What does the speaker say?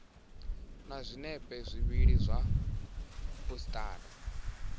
na zwinepe zwivhili zwa phasipoto